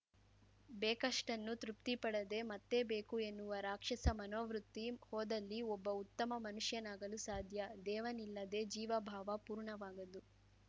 ಬೇಕಷ್ಟನ್ನು ತೃಪ್ತಿಪಡದೆ ಮತ್ತೇ ಬೇಕು ಎನ್ನುವ ರಾಕ್ಷಸ ಮನೋವೃತಿ ಹೋದಲ್ಲಿ ಒಬ್ಬ ಉತ್ತಮ ಮನುಷ್ಯನಾಗಲು ಸಾಧ್ಯ ದೇವನಿಲ್ಲದೆ ಜೀವಭಾವ ಪೂರ್ಣವಾಗದು